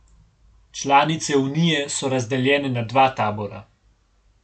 Članice Unije so razdeljene na dva tabora.